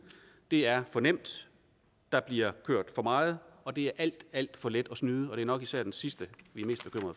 det er for nemt der bliver kørt for meget og det er alt alt for let at snyde og det er nok især det sidste vi